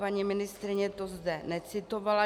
Paní ministryně to zde necitovala.